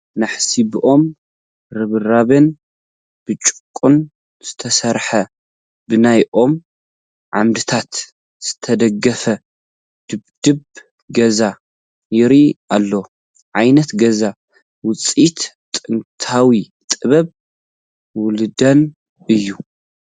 ናሕሱ ብኦም ርብራብን ብጭቓን ዝተሰርሐ ብናይ ኦም ዓምድታት ዝተደገፈ ድብድብ ገዛ ይርአ ኣሎ፡፡ እዚ ዓይነት ገዛ ውፅኢት ጥንታዊ ጥበብ ወለድና እዩ፡፡